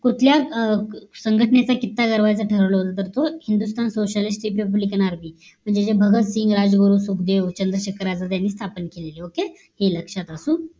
कुठल्याच संघटनेचा किस्सा दरवाजा ठरवलेलं होत तर तो हिंदुस्थान sociality republic nrb म्हणजे जे भागात शिंग राजगुरू सुखदेव चंद्रशेखर आझाद यांनी स्थापन केलेलं okay हे लक्ष्यात असो